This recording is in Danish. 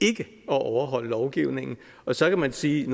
ikke at overholde lovgivningen så kan man sige